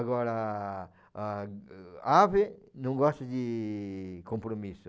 Agora, a ave não gosta de compromisso.